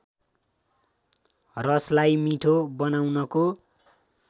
रसलाई मिठो बनाउनको